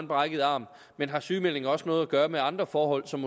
brækket arm men har sygemeldingen også noget at gøre med andre forhold som